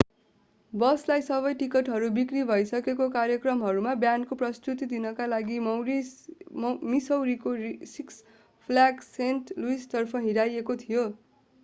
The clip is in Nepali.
बसलाई सबै टिकटहरू बिक्री भइसकेको कार्यक्रममा ब्यान्डको प्रस्तुती दिनका लागि मिसौरीको सिक्स फ्ल्याग सेन्ट लुइसतर्फ हिँडाइएको थियो